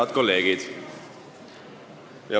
Head kolleegid!